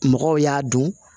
Mɔgɔw y'a dɔn